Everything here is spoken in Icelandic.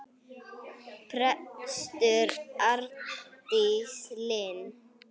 Prestur Arndís Linn.